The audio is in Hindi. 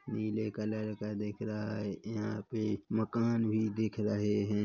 नीले कलर का दिख रहा है यहाँ पे मकान भी दिख रहे है।